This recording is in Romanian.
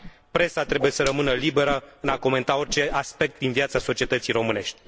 Presa trebuie să rămână liberă în a comenta orice aspect din viața societății românești.